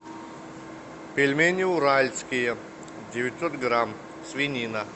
пельмени уральские девятьсот грамм свинина